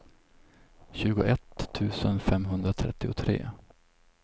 tjugoett tusen femhundratrettiotre